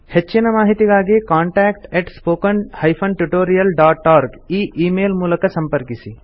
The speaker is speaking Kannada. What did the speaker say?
ಹೆಚ್ಚಿನ ಮಾಹಿತಿಗಾಗಿ ಕಾಂಟಾಕ್ಟ್ spoken tutorialorg ಈ ಈ ಮೇಲ್ ಮೂಲಕ ಸಂಪರ್ಕಿಸಿ